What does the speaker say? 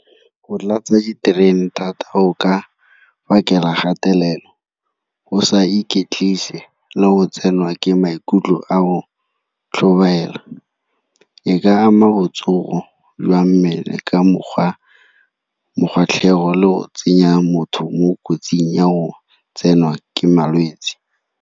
Go tlatsa diterene thata go ka phakela gatelelo, go sa iketlise le go tsenwa ke maikutlo a go tlhobaela. E ka ama botsogo jwa mmele ka mokgwa le go tsenya motho mo kotsing ya go tsenwa ke malwetse.